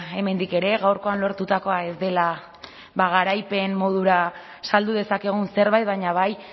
hemendik ere gaurkoan lortutakoa ez dela garaipen modura saldu dezakegun zerbait baina bai